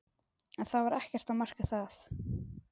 En það var ekkert að marka það.